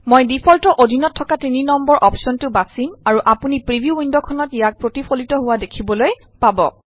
মই ডিফল্টৰ অধীনত থকা তিনি নম্বৰ অপশ্যনটো বাচিম আৰু আপুনি প্ৰিভিউ ৱিণ্ডখনত ইয়াক প্ৰতিফলিত হোৱা দেখিবলৈ পাব